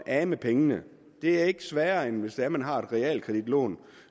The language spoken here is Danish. af med penge det er ikke sværere end hvis man har et realkreditlån